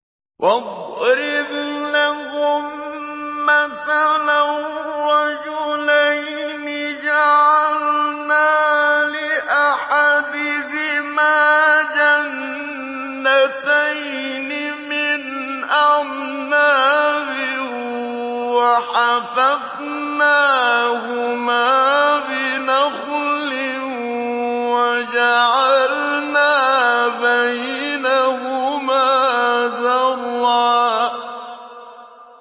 ۞ وَاضْرِبْ لَهُم مَّثَلًا رَّجُلَيْنِ جَعَلْنَا لِأَحَدِهِمَا جَنَّتَيْنِ مِنْ أَعْنَابٍ وَحَفَفْنَاهُمَا بِنَخْلٍ وَجَعَلْنَا بَيْنَهُمَا زَرْعًا